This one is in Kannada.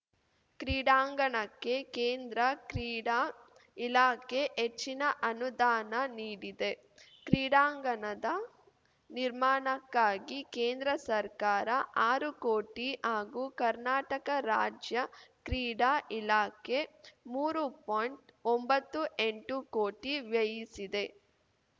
ಕ್ರೀಡಾಂಗಣಕ್ಕೆ ಕೇಂದ್ರ ಕ್ರೀಡಾ ಇಲಾಖೆ ಹೆಚ್ಚಿನ ಅನುದಾನ ನೀಡಿದೆ ಕ್ರೀಡಾಂಗಣದ ನಿರ್ಮಾಣಕ್ಕಾಗಿ ಕೇಂದ್ರ ಸರ್ಕಾರ ಆರು ಕೋಟಿ ಹಾಗೂ ಕರ್ನಾಟಕ ರಾಜ್ಯ ಕ್ರೀಡಾ ಇಲಾಖೆ ಮೂರು ಪಾಯಿಂಟ್ಒಂಬತ್ತು ಎಂಟು ಕೋಟಿ ವ್ಯಯಿಸಿದೆ